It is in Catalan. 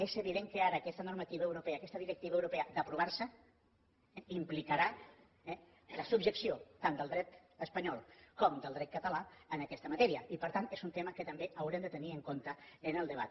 és evident que ara aquesta normativa europea aquesta directiva europea si s’aprova implicarà eh la subjecció tant del dret espanyol com del dret català en aquesta matèria i per tant és un tema que també haurem de tenir en compte en el debat